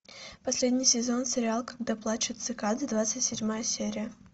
последний сезон сериала когда плачут цикады двадцать седьмая серия